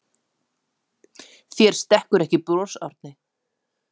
Þér stekkur ekki bros Árni.